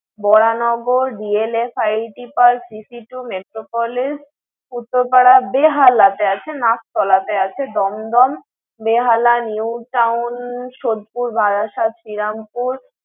ব্বরানগর, DLF IT PARK, , Metropolis, উত্তর পাড়া, বেহালে তে আছে, নাগতলা তে আছে, দমদম, বেহালা, Newtown, সতপুর, বারাসাত, শ্রিরামপুর